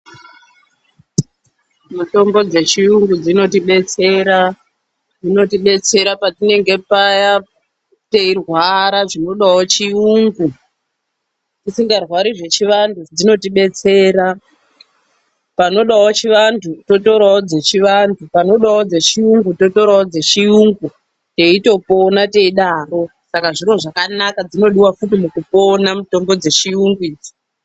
Mitombo dzechiyungu dzinotibetsera. Dzinotibetsera patinenge paya teirwara zvinodawo chiyungu. Tisingarwari zvechivanhu dzinotibetsera. Panodawo chivanhu, totorawo dzechianhu. Panodawo dzeChiyungu totorawo dzeChiyungu, teitopona teidaro. Saka zviro zvakanaka, dzinodiwa futi mukupona mitombo dzeChiyungu idzi.